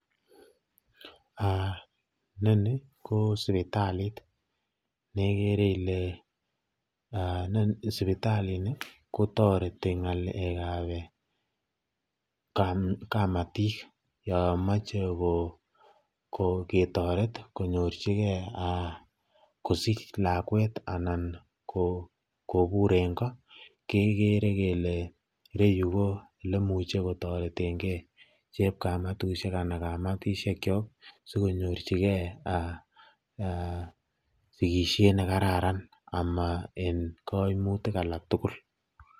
Inoni ko sipitali nekere ilee sipitalini kotoreti ng'alekab kamatik yoon moche ketoret konyorchikee kosich lakwet anan kobur en koo kekere kelee ireyu ko elemuche kotoreteng'e chepkamatushek anan kamatishekyok asikonyorchike sikishen nekararan amaa en kaimutik alak tukul.